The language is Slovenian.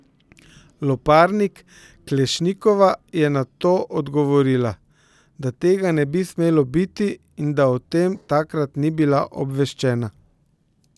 Loparnik Klešnikova je na to odgovorila, da tega ne bi smelo biti in da o tem takrat ni bila obveščena.